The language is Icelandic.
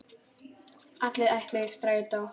Allir ætluðu í Strætó!